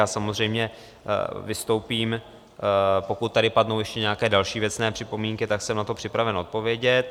Já samozřejmě vystoupím, pokud tady padnou ještě nějaké další věcné připomínky, tak jsem na to připraven odpovědět.